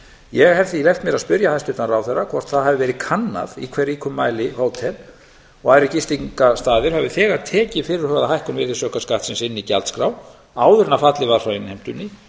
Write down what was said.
ég hef því leyft mér að spyrja hæstvirtan ráðherra hvort það hafi verið kannað í hve ríkum mæli hótel og aðrir gististaðir hafi þegar tekið fyrirhugaða hækkun virðisaukaskattsins inn í gjaldskrá áður en fallið var frá innheimtunni